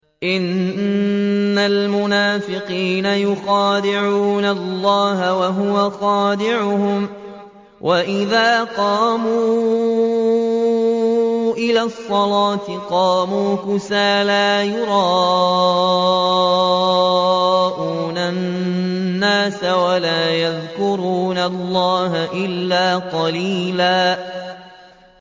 إِنَّ الْمُنَافِقِينَ يُخَادِعُونَ اللَّهَ وَهُوَ خَادِعُهُمْ وَإِذَا قَامُوا إِلَى الصَّلَاةِ قَامُوا كُسَالَىٰ يُرَاءُونَ النَّاسَ وَلَا يَذْكُرُونَ اللَّهَ إِلَّا قَلِيلًا